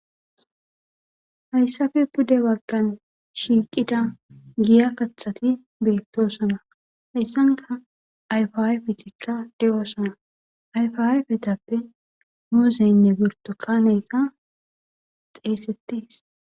hayssafe pude waggan shiiqida giya kaxati beettosana heyssanka ayfaayfetikka di7oosana ayfaaa petappe muuzeynne birto kaneyka xeesettes